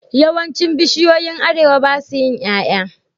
Yawancin bishiyoyin arewa basa yin yaya